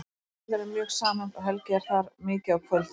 Fjölskyldan er mjög samhent og Helgi er þar mikið á kvöldin.